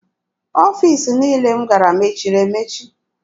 Ọfiisi niile m gara mechiri emechi.